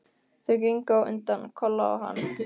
Þau gengu á undan, Kolla og hann.